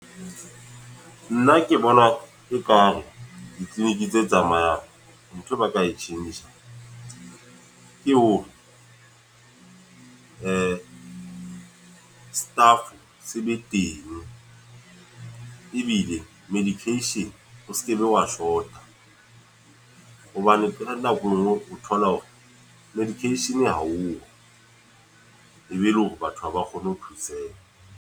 Nna ke bona ekare, di-clinic tse tsamayang. Ntho ba ka e tjhentjha. Ke hore staff se be teng. Ebile medication o sekebe wa short-a. Hobane pela nako e nngwe o thola hore medication haoyo. E be e le hore batho haba kgone ho thuseha.